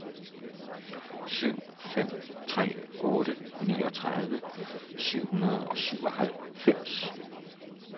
syv fem tre otte niogtredive syv hundrede og syvoghalvfems